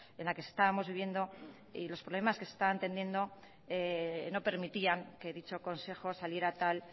en la que estábamos viviendo y los problemas que se estaban tendiendo no permitían que dicho consejo saliera tal